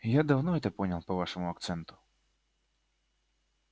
я давно это понял по вашему акценту